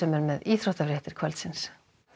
er með íþróttafréttir kvöldsins